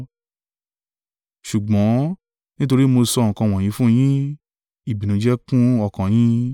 Ṣùgbọ́n nítorí mo sọ nǹkan wọ̀nyí fún yín, ìbìnújẹ́ kún ọkàn yín.